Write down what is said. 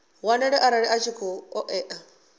wanale arali a tshi ṱoḓea